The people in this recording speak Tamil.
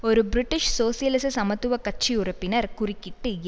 ஒரு பிரிட்டிஷ் சோசியலிச சமத்துவ கட்சி உறுப்பினர் குறுக்கிட்டு